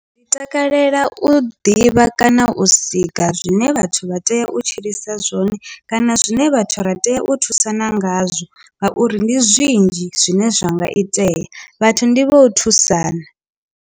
Ndi takalela u ḓivha kana u sika zwine vhathu vha tea u tshilisa zwone kana zwine vhathu ra tea u thusana ngazwo ngauri ndi zwinzhi zwine zwa nga itea vhathu ndi vho u thusana.